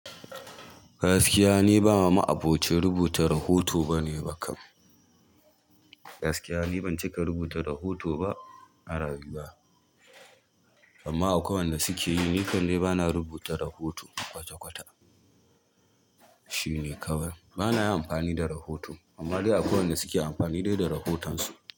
Gaskiya ni ba ma ma'aboci rubuta rahoto bane ba kam. Gaskiya ni ban cika rubuta rahoto ba a rayuwa, amma akwai wanda suke yi nikan dai bana rubuta rahoto kwata-kwata. Shine kawai. Bana yin amfani da rahoto amma dai akwai wanda suke amfani dai da rahotansu.